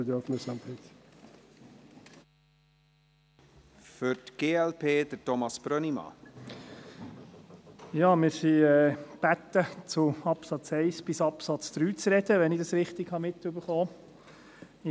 Wir sind gebeten, zu den Absätzen 1 bis 3 zu sprechen, wenn ich dies richtig mitbekommen habe.